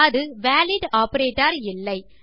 அது valid operator இல்லை